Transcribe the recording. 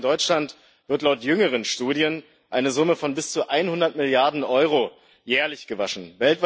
Allein in Deutschland wird laut jüngeren Studien eine Summe von bis zu 100 Milliarden Euro jährlich gewaschen.